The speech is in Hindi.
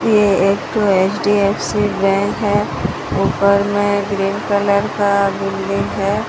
ये एक एच_डी_एफ_सी बैंक है ऊपर में ग्रीन कलर का बिल्डिंग है।